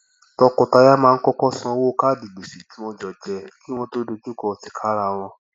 tọkọtaya máa ń kọkọ san owó kaadi gbèsè tí wọn jọ jẹ kí wọn tó dojú kọ tìkára wọn